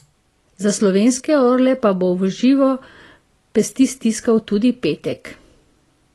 Za slovenske orle pa bo v živo pesti stiskal tudi Petek.